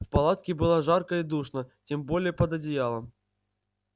в палатке было жарко и душно тем более под одеялом